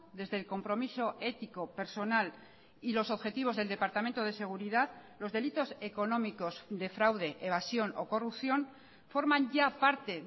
desde el compromiso ético personal y los objetivos del departamento de seguridad los delitos económicos de fraude evasión o corrupción forman ya parte